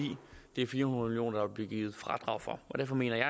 det er fire hundrede million kr der bliver givet fradrag for derfor mener jeg